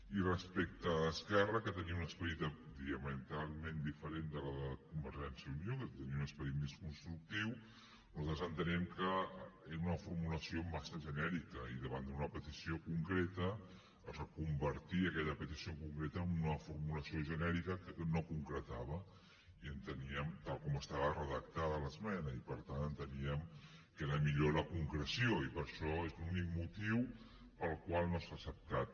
i respecte a esquerra que tenia un esperit diametralment diferent de la de convergència i unió que tenia un esperit més constructiu nosaltres entenem que era una formulació massa genèrica i davant d’una petició concreta es reconvertia aquella petició concreta en una formulació genèrica que no concretava tal com estava redactada l’esmena i per tant enteníem que era millor la concreció i per això és l’únic motiu pel qual no s’ha acceptat